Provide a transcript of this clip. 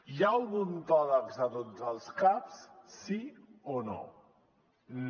hi ha odontòlegs a tots els caps sí o no no